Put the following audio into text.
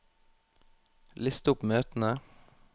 list opp møtene